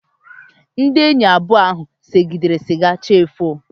Ndị enyi abụọ ahụ segidere siga chi efoo